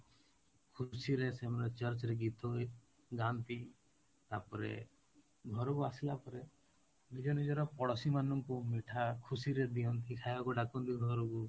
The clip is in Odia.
ଖୁସିରେ ସେମାନେ Church ରେ ଗୀତ ଗାଆନ୍ତି ତାପରେ ଘରକୁ ଆସିଲା ପରେ ନିଜ ନିଜର ପଡୋଶୀମାନଙ୍କୁ ମିଠା ଖୁସିରେ ଦିଅନ୍ତି, ଖାଇବାକୁ ଡାକନ୍ତି ଘରକୁ,